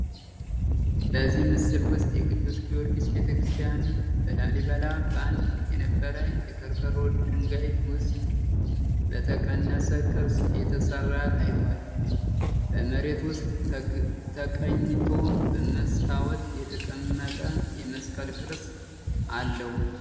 በዚህ ምስል ውስጥ የቅዱስ ጊዮርጊስ ቤተክርስቲያን በላሊበላ በአንድ የነበረ የከርከሮ ድንጋይ ውስጥ በተቀነሰ ቅርጽ ተሠራ ታይቷል። በመሬት ውስጥ ተቀኝቶ በመስተዋት የተቀመጠ የመስቀል ቅርጽ አለው።